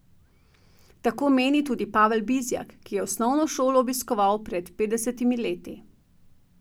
Tako meni tudi Pavel Bizjak, ki je osnovno šolo obiskoval pred petdesetimi leti.